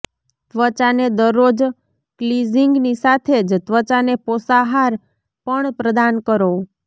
ત્વચાને દરરોજ ક્લિજિંગની સાથે જ ત્વચાને પોષાહાર પણ પ્રદાન કરો